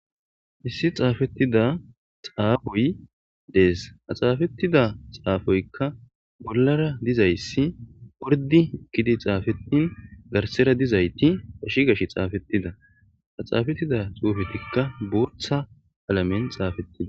Issi xaafettida xaafoy dees a xaafettida xaafoykka bollara dizayssi ordi kidi xaafetin garsera dizayti ashi gash xaafettida a xaafettida xuufetikka burtha alamen xaafettida.